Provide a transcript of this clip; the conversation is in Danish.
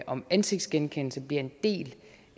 om ansigtsgenkendelse bliver en del